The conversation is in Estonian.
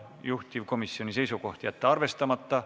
Juhtivkomisjoni seisukoht: jätta arvestamata.